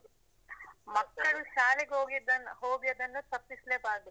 ಮಕ್ಕಳು ಶಾಲೆಗ್ ಹೋಗಿದ್ದನ್ನು ಹೋಗಿ ಅದನ್ನು ತಪ್ಪಿಸ್ಲೆಬಾರ್ದು.